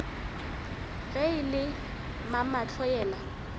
ge e le mamahlo yena